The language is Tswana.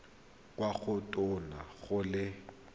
kwa go tona go le